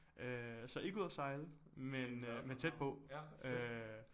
Øh så ikke ud og sejle men øh men tæt på øh